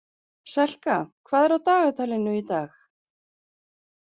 Selka, hvað er á dagatalinu í dag?